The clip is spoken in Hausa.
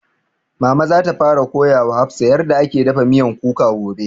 Mama za ta fara koya wa hafsah yarda ake dafa miyan kuka gobe